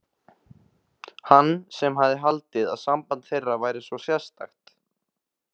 Hann sem hafði haldið að samband þeirra væri svo sérstakt.